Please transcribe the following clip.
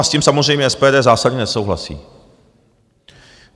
A s tím samozřejmě SPD zásadně nesouhlasí.